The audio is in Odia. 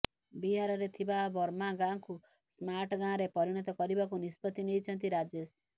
ବିହାରରେ ଥିବା ବର୍ମା ଗାଁକୁ ସ୍ମାର୍ଟ ଗାଁରେ ପରିଣତ କରିବାକୁ ନିଷ୍ପତ୍ତି ନେଇଛନ୍ତି ରାଜେଶ